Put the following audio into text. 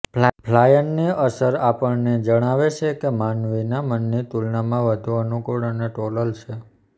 ફ્લાયનની અસર આપણને જણાવે છે કે માનવીના મનની તુલનામાં વધુ અનુકૂળ અને ટોલલ છે